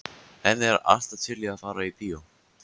Hemmi er alltaf til í að fara í bíó.